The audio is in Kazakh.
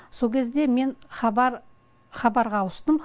со кезде мен хабарға ауыстым